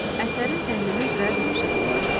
Əsərin təhlili üzrə tapşırıqlar.